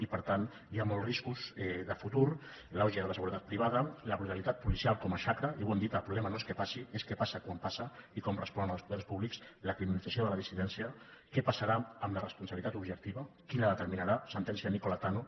i per tant hi ha molts riscos de futur l’auge de la seguretat privada la brutalitat policial com a xacra i ho hem dit el problema no és que passi és que passa quan passa i com responen els poders públics la criminalització de la dissidència què passarà amb la responsabilitat objectiva qui la determinarà sentència nicola tanno